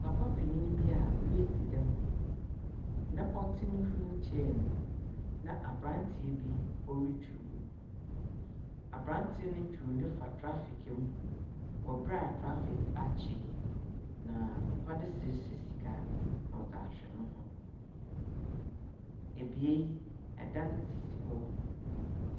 Papa panyin bi a w'adi dɛm na ɔte ne wilkyɛɛ mu na abrante bi ɔretwi no abrante ne twiw ne fa trafik mu wɔbra a trafik akyi na papa ne srɛsrɛ sika na ɔdze ahwɛ ne ho ebeae ɛdan sisi hɔ.